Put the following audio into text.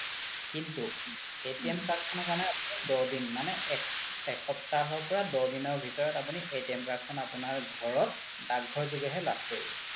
কিন্তু card খনৰ কাৰনে দহ দিন মানে এসপ্তাহৰ পৰা দহ দিনৰ ভিতৰত আপোনি card খন আপোনাৰ ঘৰত দাক ঘৰ যোগে হে লাভ কৰিব